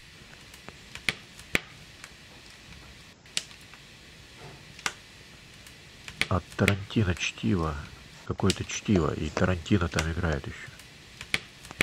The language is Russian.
от тарантино чтиво какое то чтиво и тарантино там играет еще